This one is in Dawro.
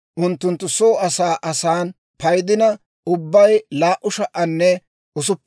unttunttu soo asan asan paydina ubbay 2,630.